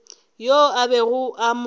yoo a bego a mo